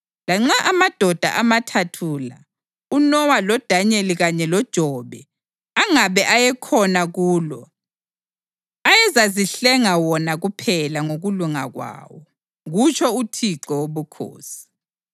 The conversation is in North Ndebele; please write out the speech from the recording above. lanxa amadoda amathathu la, uNowa, loDanyeli kanye loJobe, angabe ayekhona kulo, ayezazihlenga wona kuphela ngokulunga kwawo, kutsho uThixo Wobukhosi.